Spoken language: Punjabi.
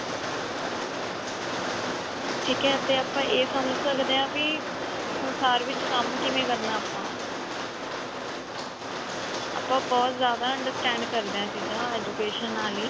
ਠੀਕ ਹੈ ਤੇ ਆਪਾਂ ਇਹ ਸਮਝ ਸਕਦੇ ਹਾਂ ਵੀ ਸੰਸਾਰ ਵਿੱਚ ਕੰਮ ਕਿਵੇਂ ਕਰਨਾ ਹੈ ਆਪਾਂ ਬਹੁਤ ਜਿਆਦਾ understand ਕਰਦੇ ਹਾਂ ਇਹ ਚੀਜਾਂ education ਆਲੀ